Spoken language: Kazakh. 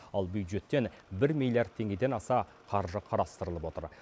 ал бюджеттен бір милиард теңгеден аса қаржы қарастырылып отыр